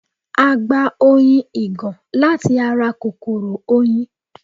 A gba oyin ìgàn láti ara kòkòrò oyin